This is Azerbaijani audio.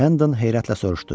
Hendon heyrətlə soruşdu: